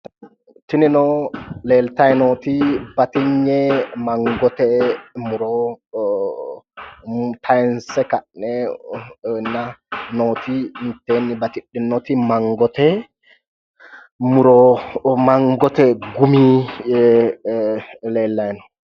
tinino leeltayi nooti batinye mangote muro kayiinse ka'nenna nooti mitteeni batidhinoti mangote muro ee mangote gumi leellayi no